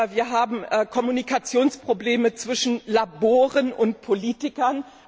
Wir haben Kommunikationsprobleme zwischen Laboren und Politikern.